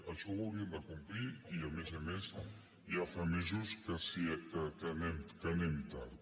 això ho hauríem de complir i a més a més ja fa mesos que anem tard